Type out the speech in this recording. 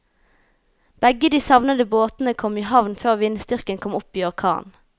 Begge de savnede båtene kom i havn før vindstyrken kom opp i orkan.